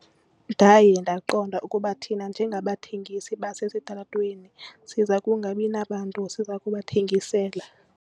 Ndaye ndaqonda ukuba thina njengabathengisi basesitalatweni siza kungabi nabantu siza kubathengisela.